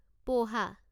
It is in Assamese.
প'হা